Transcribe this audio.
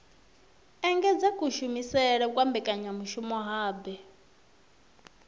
engedza kushumele kwa mbekanyamushumo hub